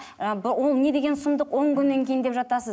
ііі ол не деген сұмдық он күннен кейін деп жатасыз